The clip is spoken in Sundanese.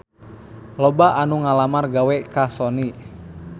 Loba anu ngalamar gawe ka Sony